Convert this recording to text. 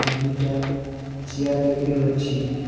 আর দুইটা চেয়ার দেখতে পাচ্ছি।